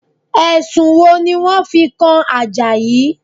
Ẹ̀sùn wo ni wọ́n fi kan Àjàyí?